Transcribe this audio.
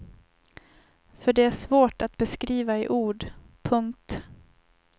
För det är svårt att beskriva i ord. punkt